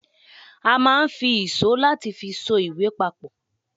a ma n fi ìsó latí fi só ìwè papò